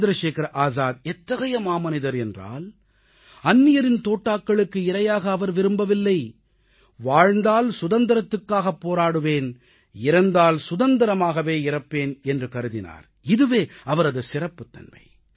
சந்திரசேகர ஆஸாத் எத்தகைய மாமனிதர் என்றால் அந்நியரின் தோட்டாக்களுக்கு இரையாக அவர் விரும்பவில்லை வாழ்ந்தால் சுதந்திரத்துக்காகப் போராடுவேன் இறந்தால் சுதந்திரமாகவே இறப்பேன் என்று கருதினார் இதுவே அவரது சிறப்புத்தன்மை